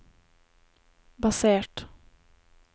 basert